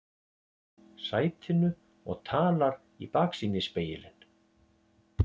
sætinu og talar í baksýnisspegilinn